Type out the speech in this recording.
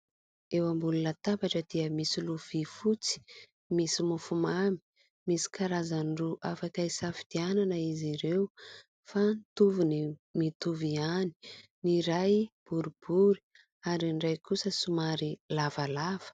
Eo ambony latabatra dia misy lovia fotsy misy mofomamy misy karazany roa afaka hisafidianana izy ireo fa mitovitovy ihany. Ny ray boribory ary ny iray kosa somary lavalava.